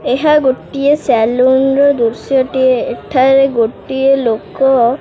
ଏହା ଗୋଟିଏ ସେଲୁନର ଦୃଶ୍ୟ ଟିଏ ଏଠାରେ ଗୋଟିଏ ଲୋକ।